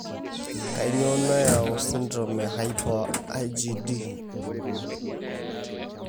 Kainyio nayau esindirom eHyper IgD?